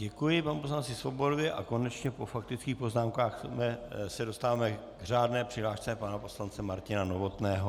Děkuji panu poslanci Svobodovi a konečně po faktických poznámkách se dostáváme k řádné přihlášce pana poslance Martina Novotného.